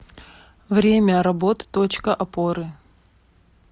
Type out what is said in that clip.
время работы точка опоры